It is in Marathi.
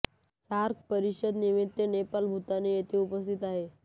सार्क परिषद निमित्य नेपाल भूतान येथे उपस्थित होते